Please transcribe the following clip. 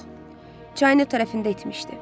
Yox, çayın o tərəfində itmişdi.